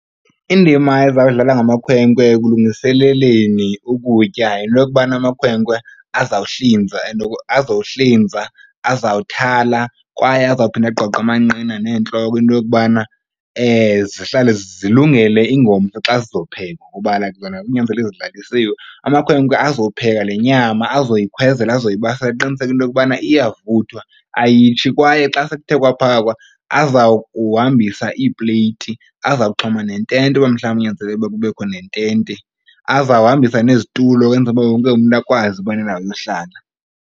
Indima ezawudlalwa ngamakhwenkwe ekulungiseleleni ukutya yinto yokubana amakhwenkwe azawuhlinza azawuthala kwaye azawuphinda agqogqe amanqina neentloko into yokubana zihlale zilungele ingomso xa zizophekwa kuba like zona kunyanzelekile zilalisiwe. Amakhwenkwe azopheka le nyama azoyikhwezela azoyibasela aqiniseke into yokubana iyavuthwa ayitshi. Kwaye xa sekuthe kwaphakwa aza kuhambisa iipleyti. Azawuxhoma nentente uba mhlawumbi kunyanzeleke ukuba kubekho nentente. Azawuhambisa nezitulo kwenzela uba wonke umntu akwazi ukuba nendawo yohlala.